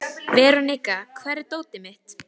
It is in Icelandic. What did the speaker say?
Veronika, hvar er dótið mitt?